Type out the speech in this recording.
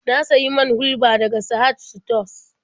Na sayi man hulɓa daga Sahad sutos.